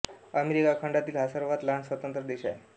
America खंडातील हा सर्वात लहान स्वतंत्र देश आहे